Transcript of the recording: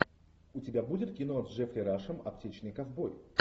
у тебя будет кино с джеффри рашем аптечный ковбой